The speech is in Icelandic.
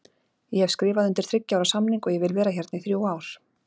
Ég hef skrifað undir þriggja ára samning og ég vil vera hérna í þrjú ár.